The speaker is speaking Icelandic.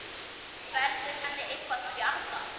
Verður henni eitthvað bjargað?